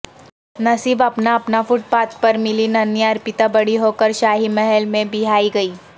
نصیب اپنا اپنا فٹ پاتھ پرملی ننھی ارپتا بڑی ہوکر شاہی محل میں بیاہی گئی